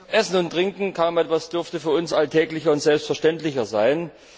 Essen und Trinken kaum etwas dürfte für uns alltäglicher und selbstverständlicher sein.